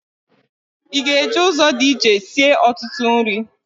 Ị ga-eji ụzọ dị iche sie ọtụtụ nri?